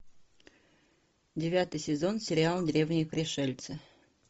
девятый сезон сериала древние пришельцы